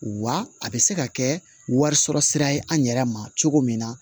Wa a bɛ se ka kɛ wari sɔrɔ sira ye an yɛrɛ ma cogo min na